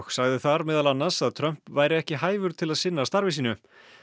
sagði þar meðal annars að Trump væri ekki hæfur til að sinna starfi sínu